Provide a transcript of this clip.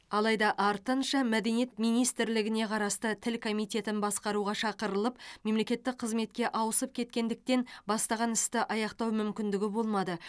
алайда артынша мәдениет министрлігіне қарасты тіл комитетін басқаруға шақырылып мемлекеттік қызметке ауысып кеткендіктен бастаған істі аяқтау мүмкіндігі болмады